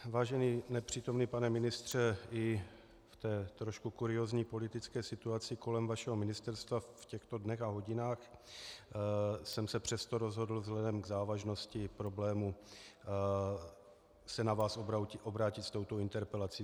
Vážený nepřítomný pane ministře i v té trošku kuriózní politické situaci kolem vašeho ministerstva v těchto dnech a hodinách jsem se přesto rozhodl vzhledem k závažnosti problému se na vás obrátit s touto interpelací.